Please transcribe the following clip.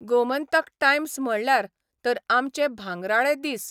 Gomantak Times 'म्हणल्यार तर आमचे भांगराळे दीस.